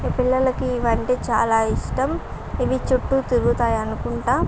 ఈ పిల్లలకి ఇవి అంటే చాలా ఇష్టం. ఇవి చుట్టూ తిరుగుతాయి అనుకుంట --